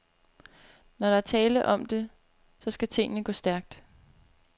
Når der er tale om det, så skal tingene gå stærkt.